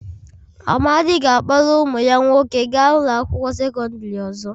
Amadi ga-akpọrọ ụmụ ya nwoke gaa ụlọ akwụkwọ sekọndrị ọzọ.